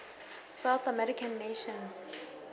south american nations